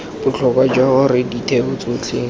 botlhokwa jwa gore ditheo tsotlhe